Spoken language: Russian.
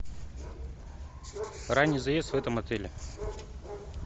ранний заезд в этом отеле